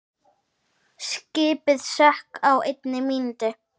Skipið sökk á einni mínútu.